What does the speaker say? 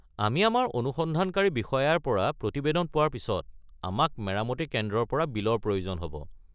আমি আমাৰ অনুসন্ধানকাৰী বিষয়াৰ পৰা প্ৰতিবেদন পোৱাৰ পিছত, আমাক মেৰামতি কেন্দ্ৰৰ পৰা বিলৰ প্ৰয়োজন হ'ব।